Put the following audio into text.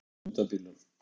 Stálu dekkjum undan bílum